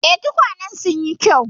Eh, tukwanen sun yi kyau.